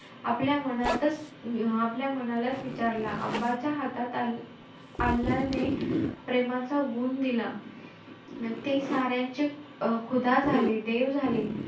आपल्या मनातचं~ आपल्या मनालाचं विचारला च्या हातात अल्लाने प्रेमाचा गुण दिला. ते साऱ्यांचे झाले, देव झाले.